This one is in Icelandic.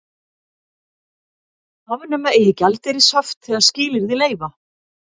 Afnema eigi gjaldeyrishöft þegar skilyrði leyfa